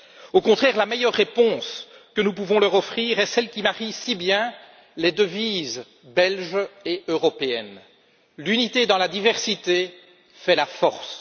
Au contraire, la meilleure réponse que nous pouvons leur offrir est celle qui marie si bien les devises belges et européennes, l'unité dans la diversité fait la force.